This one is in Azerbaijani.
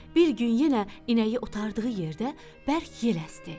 Bir gün yenə inəyi otardığı yerdə bərk yel əsdi.